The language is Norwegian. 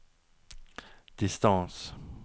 distance